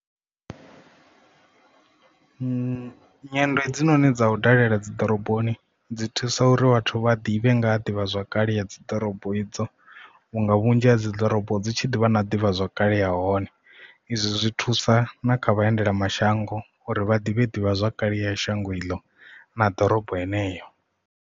Nyendo hedzinoni dzau dalela dzi ḓoroboni dzi thusa uri vhathu vha ḓivhe nga ha ḓivhazwakale ya dzi ḓorobo idzo vhunga vhu vhunzhi ha dzi ḓorobo dzi tshi ḓivha na ḓivha zwakale ya hone izwi zwi thusa na kha vhaendela mashango uri vha ḓivhe ḓivhazwakale ya shango iḽo na ḓorobo yeneyo.